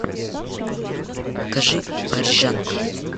покажи парижанка